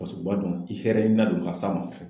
Paseke u b'a dɔn i hɛrɛ la don ka s'a ma.